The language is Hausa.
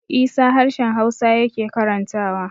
Isa harshen hausa yake karantawa